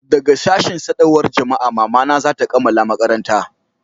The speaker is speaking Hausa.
daga sashin sadarwar jama'a mama na za ta kammala makaranta